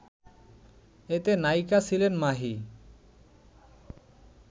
এতে নায়িকা ছিলেন মাহি